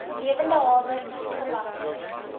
lewende hawe oesgewasse